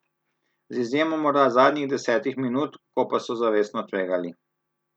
Z izjemo morda zadnjih desetih minut, ko pa so zavestno tvegali.